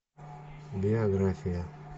биография